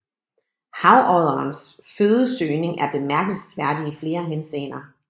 Havodderens fødesøgning er bemærkelsesværdig i flere henseender